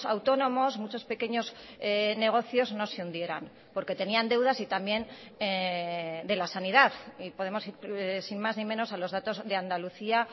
autónomos muchos pequeños negocios no se hundieran porque tenían deudas y también de la sanidad y podemos sin más ni menos a los datos de andalucía